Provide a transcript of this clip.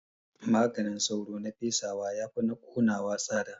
Maganin sauro na fesawa yafi na ƙonawa tsada